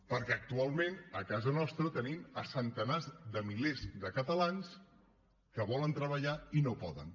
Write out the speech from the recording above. perquè actualment a casa nostra tenim centenars de milers de catalans que volen treballar i no poden